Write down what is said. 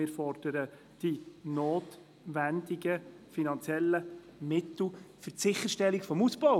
Wir fordern die notwendigen finanziellen Mittel für die Sicherstellung des Ausbaus.